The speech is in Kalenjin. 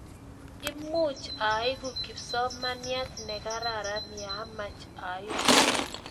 Much aleku kipsomananiat ne kararan ye amach aleku.